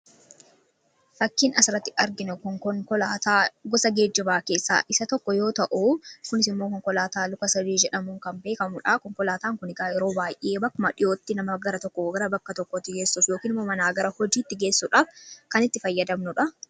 Fakkiin asirratti arginu kun konkolaataa gosa geejjibaa keessaa isa tokko yoo ta'u, kunis immoo konkolaataa luka-sadee jedhamuun kan beekamu dha. Konkolaataan kun egaa yeroo baay'ee bakkuma dhiyootti nama gara tokkoo gara bakka tokkootti geessuuf yookiin immoo manaa gara hojiitti geessuudhaaf kan itti fayyadamnu dha.